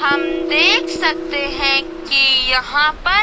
हम देख सकते हैं कि यहां पर--